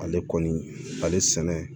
Ale kɔni ale sɛnɛ